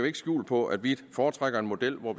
ikke skjul på at vi foretrækker en model hvor